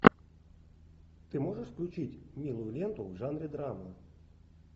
ты можешь включить милую ленту в жанре драмы